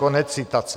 Konec citace.